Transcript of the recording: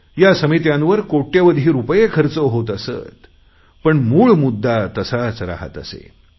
या समित्यांवर कोट्यवधी रुपये खर्च होत असत मात्र मूळ मुद्दा तसाच राहात असे